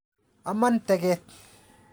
Amon teget.